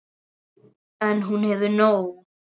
En hún hefur nóg.